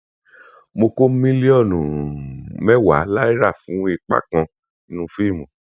mo kó mílíọnù um mẹwàá náírà fún ipa kan nínú fíìmù